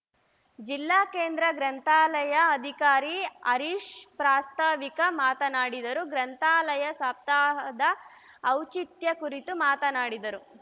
ಜಿಲ್ಲಾ ಕೇಂದ್ರ ಗ್ರಂಥಾಲಯದ ಅಧಿಕಾರಿ ಹರೀಶ್‌ ಪ್ರಾಸ್ತಾವಿಕ ಮಾತನಾಡಿದರು ಗ್ರಂಥಾಲಯ ಸಪ್ತಾಹದ ಔಚಿತ್ಯ ಕುರಿತು ಮಾತನಾಡಿದರು